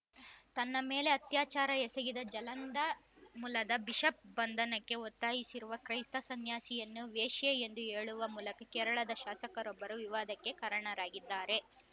ತನ್ನ ಮೇಲೆ ಅತ್ಯಾಚಾರ ಎಸಗಿದ ಜಲಂಧ ಮೂಲದ ಬಿಷಪ್‌ ಬಂಧನಕ್ಕೆ ಒತ್ತಾಯಿಸಿರುವ ಕ್ರೈಸ್ತ ಸನ್ಯಾಸಿನಿಯನ್ನು ವೇಶ್ಯೆ ಎಂದು ಹೇಳುವ ಮೂಲಕ ಕೇರಳದ ಶಾಸಕರೊಬ್ಬರು ವಿವಾದಕ್ಕೆ ಕಾರಣರಾಗಿದ್ದಾರೆ